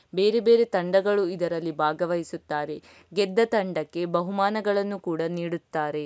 ಬೇರೆ ಬೇರೆ ತಂಡಗಳು ಇದ್ರಲ್ಲಿ ಭಾಗವಹಿಸುತ್ತಾರೆ ಗೆದ್ದ ತಂಡಕ್ಕೆ ಬಹುಮಾನಗಳನ್ನು ಕೂಡ ನೀಡುತ್ತಾರೆ.